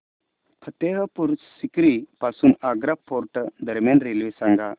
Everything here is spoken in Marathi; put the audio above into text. फतेहपुर सीकरी पासून आग्रा फोर्ट दरम्यान रेल्वे सांगा